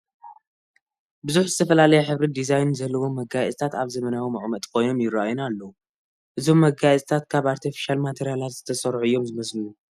ብዙሕ ዝተፈላለየ ሕብርን ዲዛይንን ዘለዎም መጋየፅታት ኣብ ዘመናዊ መቐመጢ ኮይኖም ይርአዩና ኣለዉ፡፡ እዞም መጋየፅታት ካብ ኣርተፍሻል ማተርያላት ዝተሰርሑ እዮም ዝመስሉኒ፡፡